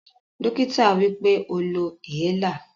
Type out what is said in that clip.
Dokita sowipe, "o lo inhaler"